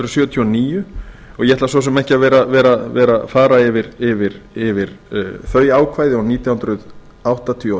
hundruð sjötíu og níu og ég ætla svo sem ekki að vera að fara yfir þau ákvæði og nítján hundruð áttatíu og